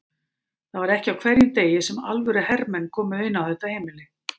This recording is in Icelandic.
Það var ekki á hverjum degi sem alvöru hermenn komu inn á þetta heimili.